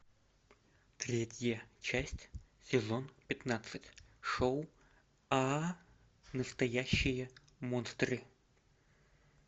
третья часть сезон пятнадцать шоу а настоящие монстры